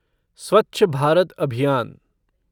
स्वच्छ भारत अभियान